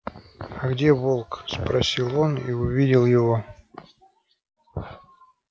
а где волк спросил он и увидел его